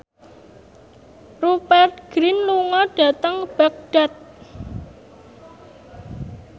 Rupert Grin lunga dhateng Baghdad